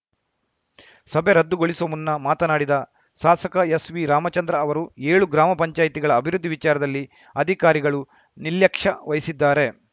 ಸಭೆ ರದ್ದು ಗೊಳಿಸುವ ಮುನ್ನ ಮಾತನಾಡಿದ ಸಾಸಕ ಎಸ್‌ವಿರಾಮಚಂದ್ರ ಅವರು ಏಳು ಗ್ರಾಮ ಪಂಚಾಯ್ತಿಗಳ ಅಭಿವೃದ್ಧಿ ವಿಚಾರದಲ್ಲಿ ಅಧಿಕಾರಿಗಳು ನಿಲ್ಯಕ್ಷ್ಯ ವಹಿಸಿದ್ದಾರೆ